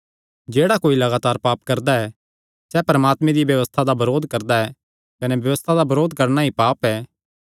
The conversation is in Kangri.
जेह्ड़ा कोई लगातार पाप करदा ऐ सैह़ परमात्मे दिया व्यबस्था दा बरोध करदा ऐ कने व्यबस्था दा बरोध करणा ई पाप ऐ